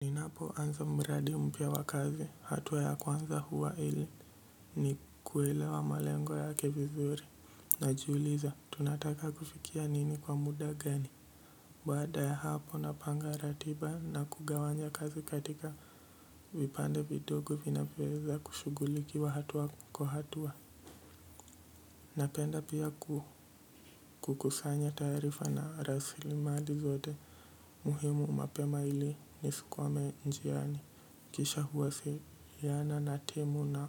Ninapoanza mradi mpya wa kazi, hatua ya kwanza huwa ili ni kuelewa malengo yake vizuri. Najiuliza, tunataka kufikia nini kwa muda gani. Baada ya hapo napanga ratiba na kugawanya kazi katika vipande vidogo vinyoweza kushugulikiwa hatua kwa hatua. Napenda pia kukusanya taarifa na rasili mali zote. Muhimu mapema ili nisikwame njiani. Kisha huwasiliana na timu na